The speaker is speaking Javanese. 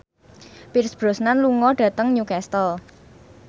Pierce Brosnan lunga dhateng Newcastle